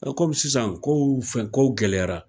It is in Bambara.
Nka komi sisan ko fɛn kow gɛlɛyara